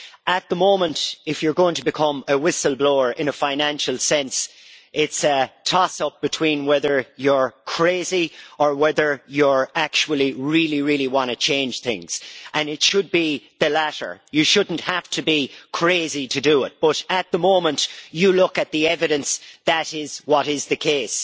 At the moment, if you are going to become a whistle blower in a financial sense it is a toss up between whether you are crazy or whether you actually really want to change things, and it should be the latter. You should not have to be crazy to do it but at the moment, if you look at the evidence, that is the case.